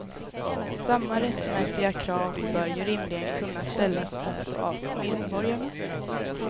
Samma rättmätiga krav bör ju rimligen kunna ställas också av medborgarna.